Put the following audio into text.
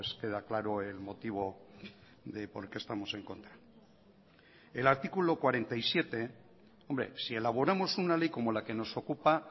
queda claro el motivo de por qué estamos en contra el artículo cuarenta y siete hombre si elaboramos una ley como la que nos ocupa